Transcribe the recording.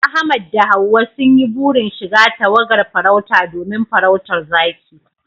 Ahmad da Hawwa sun yi burin shiga tawagar farauta domin farautar zaki